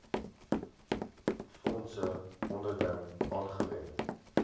fondse onderling aangewend